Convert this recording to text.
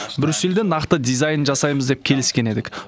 брюссельде нақты дизайнын жасаймыз деп келіскен едік